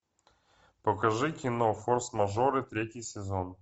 покажи кино форс мажоры третий сезон